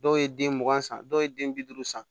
Dɔw ye den mugan san dɔw ye den bi duuru san